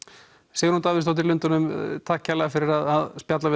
Sigrún Davíðsdóttir í Lundúnum takk fyrir spjallið